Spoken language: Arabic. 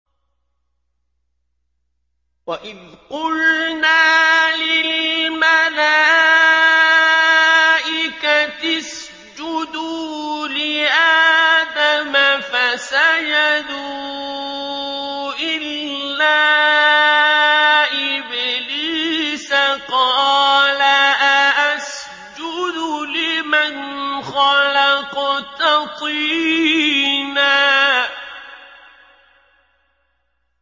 وَإِذْ قُلْنَا لِلْمَلَائِكَةِ اسْجُدُوا لِآدَمَ فَسَجَدُوا إِلَّا إِبْلِيسَ قَالَ أَأَسْجُدُ لِمَنْ خَلَقْتَ طِينًا